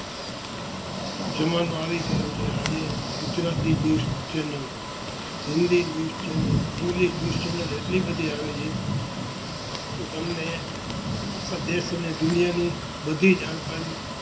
જમાનો આવી ગયો છે આજે Gujarati news channel, Hindi news channel, English news channel આટલી બધી આવે છે